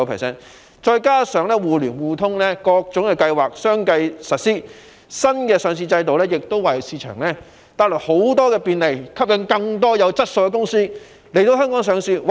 再加上多項金融"互聯互通"的計劃相繼實施，新的上市制度為市場帶來很多便利，吸引更多有質素的公司來港上市。